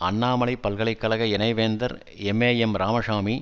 அண்ணாமலை பல்கலை கழக இணைவேந்தர் எம்ஏஎம் ராமசாமி